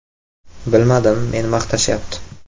Bilmadim, meni maqtashyapti.